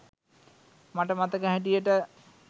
මට මතක හැටියට.